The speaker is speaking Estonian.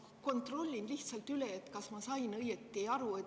Ma kontrollin lihtsalt üle, kas ma sain õieti aru.